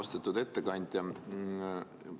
Austatud ettekandja!